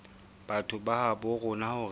batho ba habo rona hore